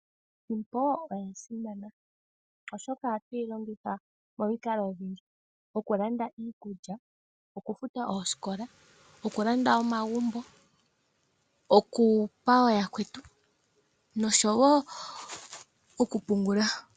Iisimpo oya simana, oshoka ohatuyi longitha momikalo dhili ili, oku landa iikulya, oku futa oosikola, oku landa omagumbo, oku gandja kooyakwetu, noshowo oku pungula.